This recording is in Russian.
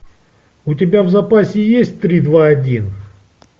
у тебя в запасе есть три два один